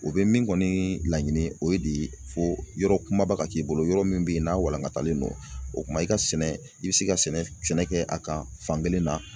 O bɛ min kɔni laɲini o ye de fo yɔrɔ kumaba ka k'i bolo yɔrɔ min be ye n'a walankatalen don. O kuma i ka sɛnɛ i bi se ka sɛnɛ sɛnɛ kɛ a kan fan kelen na